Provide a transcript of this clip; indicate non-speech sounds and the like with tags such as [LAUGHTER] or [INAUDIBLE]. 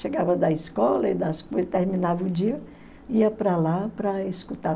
Chegava da escola [UNINTELLIGIBLE] terminava o dia, ia para lá para escutar.